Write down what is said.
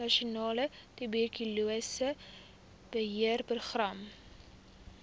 nasionale tuberkulose beheerprogram